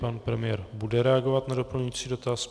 Pan premiér bude reagovat na doplňující dotaz.